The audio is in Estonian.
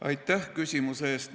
Aitäh küsimuse eest!